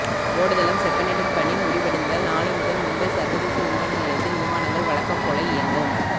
ஓடுதளம் செப்பனிடும் பணி முடிவடைவதால் நாளை முதல் மும்பை சர்வதேச விமான நிலையத்தில் விமானங்கள் வழக்கம் போல இயங்கும்